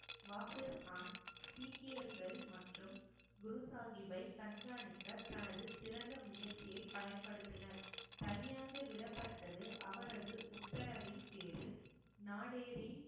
வாசிர்கான் சீக்கியர்கள் மற்றும் குரு சாகிப்பை கண்காணிக்க தனது சிறந்த முயற்சியை பயன்படுத்தினர் தனியாக விடப்பட்டது அவரது உத்தரவின் பேரில் நாடேறின்